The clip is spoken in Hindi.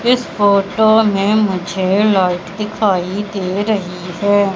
इस फोटो में मुझे लाइट दिखाई दे रही है।